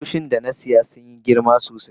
kusoshin da na siya sun Yi girma sosai.